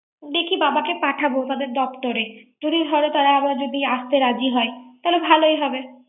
দেখি বাবা কো পাঠাব। ওদের দপ্তরে যদি তারা আবার যদি আসতে রাজি হয়। তাহলে ভালোই হবে।